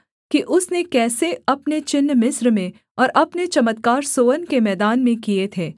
कि उसने कैसे अपने चिन्ह मिस्र में और अपने चमत्कार सोअन के मैदान में किए थे